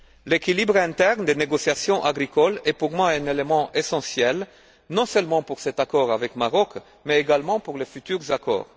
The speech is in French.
L'équilibre interne des négociations agricoles est pour moi un élément essentiel, non seulement pour cet accord avec le Maroc, mais également pour les futurs accords.